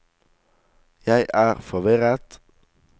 jeg er forvirret